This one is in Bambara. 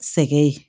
Sɛgɛn ye